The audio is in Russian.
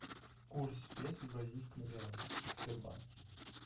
курс песо к бразильскому реалу в сбербанке